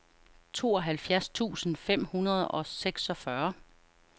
tooghalvfjerds tusind fem hundrede og seksogfyrre